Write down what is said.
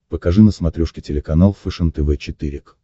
покажи на смотрешке телеканал фэшен тв четыре к